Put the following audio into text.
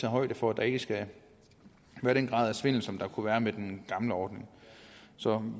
højde for at der ikke skal være den grad af svindel som der kunne være med den gamle ordning så